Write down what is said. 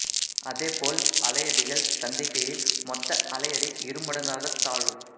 அதே போல் அலையடிகள் சந்திக்கையில் மொத்த அலையடி இருமடங்காகத் தாழும்